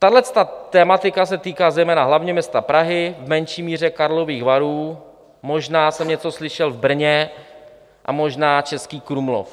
Tahleta tematika se týká zejména hlavně města Prahy, v menší míře Karlových Varů, možná jsem něco slyšel v Brně a možná Český Krumlov.